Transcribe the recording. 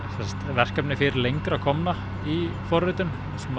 verkefni fyrir lengra komna í forritun